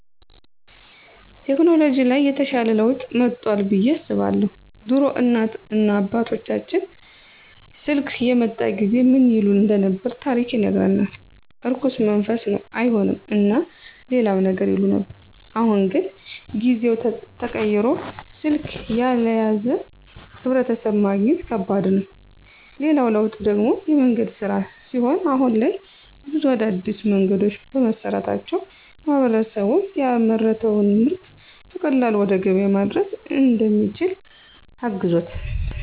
ቴከኖሎጅ ላይ የተሻለ ለውጥ መጦአል ብዬ አስባለሁ። ድሮ እናት እና አባቶቻችን ስልክ የመጣ ጊዜ ምን ይሉ እንደነበር ታሪክ ይነግረናል። እርኩስ መንፈስ ነው አይሆንም እና ሌላም ነገር ይሉ ነበር። አሁን ግን ጊዜው ተቀይሮ ስልክ ያልያዘ ሕብረተሰብ ማግኘት ከባድ ነው። ሌላው ለውጥ ደግሞ የመንገድ ሥራ ሲሆን አሁን ላይ ብዙ አዳዲስ መንገዶች በመሰራታቸው ማህበረሰቡ ያመረተውን ምርጥ በቀላሉ ወደ ገበያ ማድረስ እንዲችል አግዞታል።